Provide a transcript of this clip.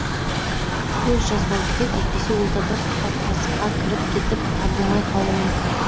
көз жазбау керек әйтпесе ол да бір қалтарысқа кіріп кетіп табылмай қалуы мүмкін